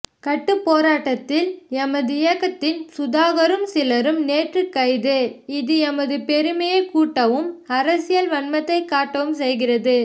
கட்டுப் போராட்டத்தில் எமதியக்கத்தின் சுதாகரும் சிலரும் நேற்று கைது இது எமதுபெருமையைக் கூட்டவும் அரசியல் வன்மத்தைக் காட்டவும் செய்கிறது